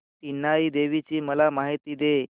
इनाई देवीची मला माहिती दे